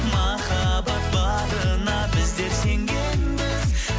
махаббат барына біздер сенгенбіз